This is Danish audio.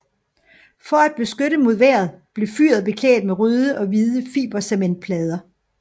For at beskytte mod vejret blev fyret beklædt med røde og hvide fibercementplader